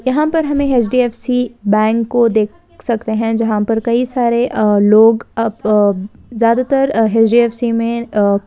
यहाँ पर हमें एच.डी.एफ.सी बैंक को देख सकते हैं जहाँ पर कई सारे लोग अ ज्यादा तर एच.डी.एफ.सी में अ --